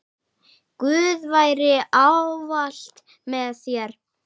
Guð veri ávallt með þér.